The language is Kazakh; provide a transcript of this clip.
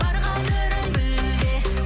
бар қадірін біл де